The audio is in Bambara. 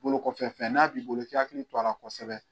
Bolo kɔfɛ fɛn n'a b'i bolo i k'i hakili to a la kosɛbɛ.